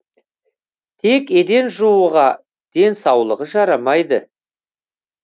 тек еден жууға денсаулығы жарамайды